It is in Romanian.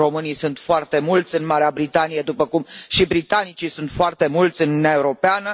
Românii sunt foarte mulți în Marea Britanie, după cum și britanicii sunt foarte mulți Uniunea Europeană.